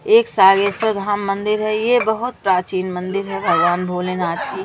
एक सागेश्वर धाम मंदिर है ये बहुत प्राचीन मंदिर है भगवान भोलेनाथ की।